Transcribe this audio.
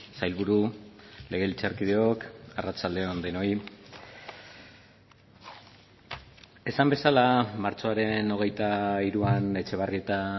sailburu legebiltzarkideok arratsalde on denoi esan bezala martxoaren hogeita hiruan etxebarrieta